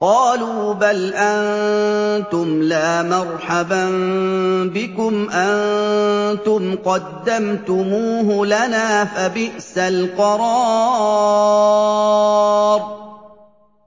قَالُوا بَلْ أَنتُمْ لَا مَرْحَبًا بِكُمْ ۖ أَنتُمْ قَدَّمْتُمُوهُ لَنَا ۖ فَبِئْسَ الْقَرَارُ